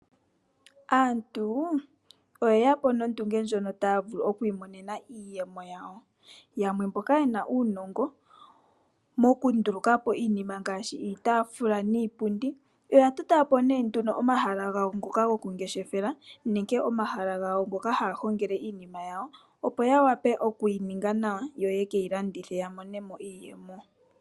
Aantu oyeya po nondunge ndjono taya vulu oku imonena iiyemo yawo, yamwe mboka ye na uunongo wokunduluka po iinima ngaashi iitafula niipundi oya tota po omahala gawo ngoka gokungeshefela nege omahala gawo ngoka haya hongele iinima yawo opo ya wape okuyininga nawa yo yekeyi landithe ya mone mo iiyemo.